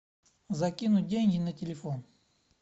закинуть деньги на телефон